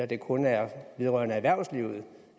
det kun er vedrørende erhvervslivet